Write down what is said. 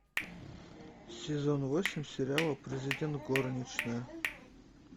сезон восемь сериала президент горничная